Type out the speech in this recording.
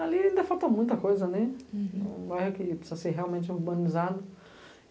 Ali ainda falta muita coisa, um bairro que precisa ser realmente urbanizado.